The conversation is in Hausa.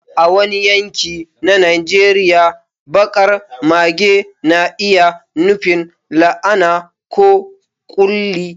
A wani yanki na Najeriya, baƙar mage na iya nufin la'ana ko ƙulli.